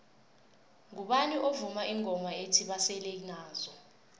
ngubani ovuma ingoma ethi basele nazo